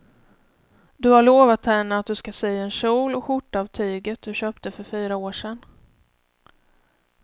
Du har lovat henne att du ska sy en kjol och skjorta av tyget du köpte för fyra år sedan.